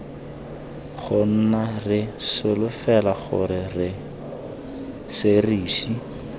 gona re solofela gore serisi